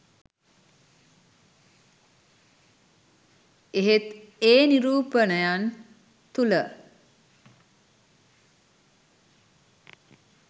එහෙත් ඒ නිරූපණයන් තුළ